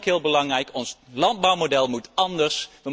Ook heel belangrijk, ons landbouwmodel moet anders.